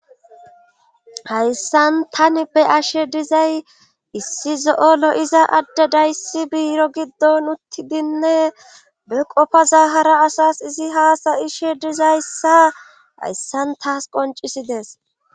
hayssan tani be ashe dizay issi zo7olo iza adde dayssi biiro giddon uttidinne be qofa zahara asas izi haasayishe dizayssa hayssan taas qoncisidees